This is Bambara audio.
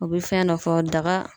U bɛ fɛn dɔ fɔ daga